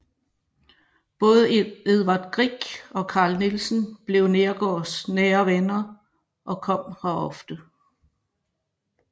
Både Edvard Grieg og Carl Nielsen blev Neergaards nære venner og kom her ofte